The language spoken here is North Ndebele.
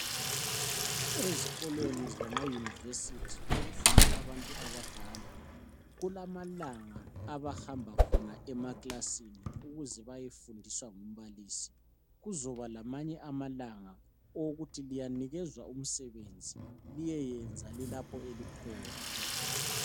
Ezkolweni zamayunivesithi okufunda abantu abadala kulamalanga abahamba khona emaklasini ukuze bayefundiswa ngumbalisi. Kuzoba lamanye amalanga owokuthi liyanikezwa umsebenzi liyeyenza lilapho elikhona.